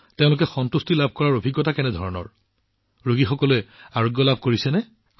প্ৰধানমন্ত্ৰীঃ আৰু পিছত তেওঁৰ চিকিৎসা কৰাৰ পিছত তেওঁ সন্তুষ্টি লাভ কৰে নেকি তেওঁ কি অনুভৱ কৰে ৰোগীসকল সুস্থ হয় নে